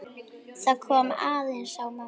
Það kom aðeins á mömmu.